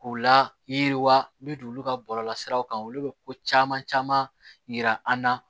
K'u la yiriwa min t'olu ka bɔlɔlɔsiraw kan olu bɛ ko caman caman yira an na